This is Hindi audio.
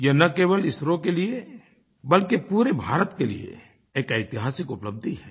यह न केवल इसरो के लिये बल्कि पूरे भारत के लिये एक ऐतिहासिक उपलब्धि है